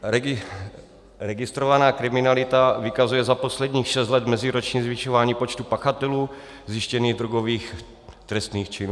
Registrovaná kriminalita vykazuje za posledních šest let meziročně zvyšovaný počet pachatelů zjištěných drogových trestných činů.